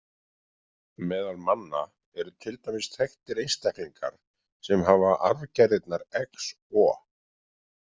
Meðal manna eru til dæmis þekktir einstaklingar sem hafa arfgerðirnar XO.